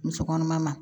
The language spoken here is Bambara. Muso kɔnɔma ma